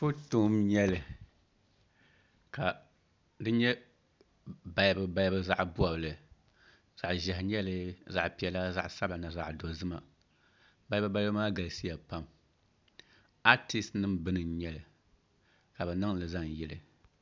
Foto n nyɛli ka di nyɛ balibu balibu zaɣ bobli zaɣ ʒiɛhi biɛni zaɣ piɛla zaɣ sabila ni zaɣ dozima balibu balibu maa galisiya pam aatis nim bini n nyɛli ka bi niŋli zaŋ yili